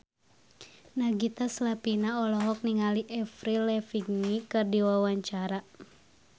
Nagita Slavina olohok ningali Avril Lavigne keur diwawancara